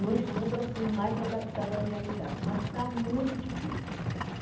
num estudo assim, mais adaptado à realidade, mas está muito difícil.